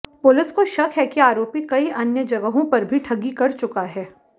police को शक है कि आरोपी कई अन्य जगहों पर भी ठगी कर चुका है